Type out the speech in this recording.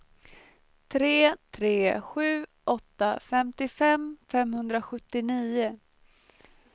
tre tre sju åtta femtiofem femhundrasjuttionio